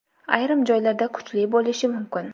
ayrim joylarda kuchli bo‘lishi mumkin.